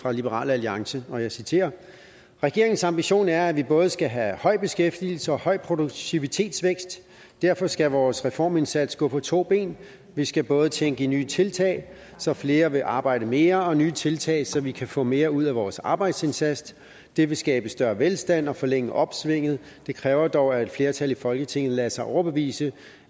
fra liberal alliance og jeg citerer regeringens ambition er at vi både skal have høj beskæftigelse og høj produktivitetsvækst derfor skal vores reformindsats gå på to ben vi skal både tænke i nye tiltag så flere vil arbejde mere og nye tiltag så vi kan få mere ud af vores arbejdsindsats det vil skabe større velstand og forlænge opsvinget det kræver dog at et flertal i folketinget lader sig overbevise